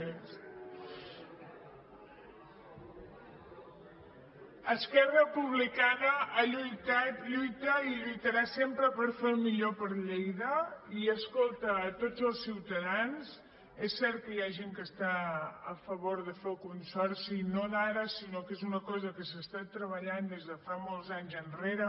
esquerra republicana ha lluitat lluita i lluitarà sempre per fer el millor per lleida i escolta a tots els ciutadans és cert que hi ha gent que està a favor de fer el consorci no d’ara sinó que és una cosa que s’ha estat treballant des de molts anys enrere